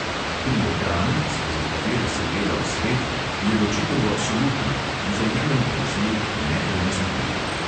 Pri ekranih, skozi katere se gleda v svet, je ločitev absolutna, vzajemen prezir nepremostljiv.